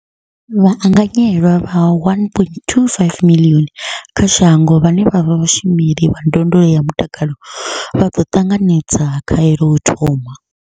Vhaanganyelwa vha 1.25 miḽioni kha shango vhane vha vha vhashumeli vha ndondolo ya mutakalo vha ḓo ṱanganedza khaelo u thoma.